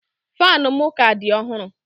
Fanu m ka di ọhụrụ